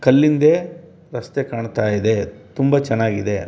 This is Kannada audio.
ಕಲ್ಲಿದ್ದೆ ರಸ್ತೆ ಕಾಣ್ತಾ ಇದೆ ತುಂಬ ಚೆನ್ನಾಗಿದೆ.